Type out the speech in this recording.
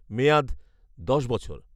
মেয়াদ দশ বছর